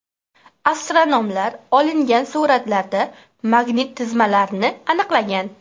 Astronomlar olingan suratlarda magnit tizmalarni aniqlagan.